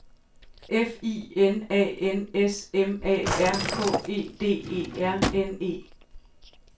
F I N A N S M A R K E D E R N E